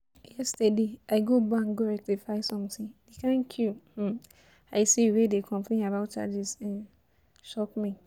Yesterday I go bank go rectify something, the kyn queue um I see wey dey complain about charges um shock me